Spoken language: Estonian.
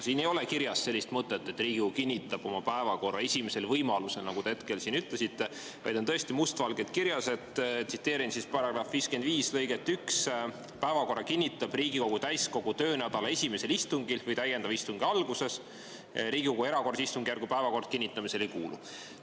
Siin ei ole kirjas sellist mõtet, et Riigikogu kinnitab oma päevakorra esimesel võimalusel, nagu te ütlesite, vaid tõesti on must valgel § 55 lõikes 1 kirjas, et päevakorra kinnitab Riigikogu täiskogu töönädala esimesel istungil või täiendava istungi alguses ning Riigikogu erakorralise istungjärgu päevakord kinnitamisele ei kuulu.